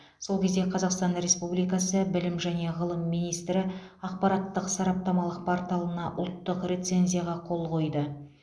сол кезде қазақстан республикасы білім және ғылым министрі ақпараттық сараптамалық порталына ұлттық рецензияға қол қойды